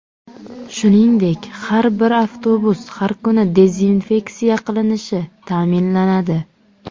Shuningdek, har bir avtobus har kuni dezinfeksiya qilinishi ta’minlanadi.